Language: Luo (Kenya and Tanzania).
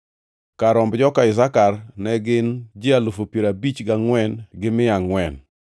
Kar romb joka Isakar ne gin ji alufu piero abich gangʼwen gi mia angʼwen (54,400).